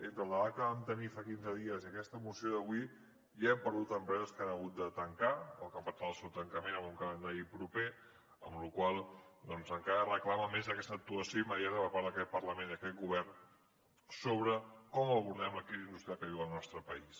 entre el debat que vam tenir fa quinze dies i aquesta moció d’avui ja hem perdut empreses que han hagut de tancar o que han pactat el seu tancament en un calendari proper amb la qual cosa doncs encara es reclama més aquesta actuació immediata per part d’aquest parlament i aquest govern sobre com abordem la crisi industrial que viu el nostre país